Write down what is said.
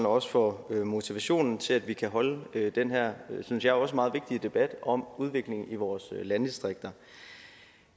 og også for motivationen til at vi kan holde den her synes jeg også meget vigtige debat om udviklingen i vores landdistrikter